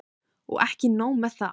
Og ekki nóg með það.